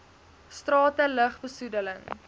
strate lug besoedeling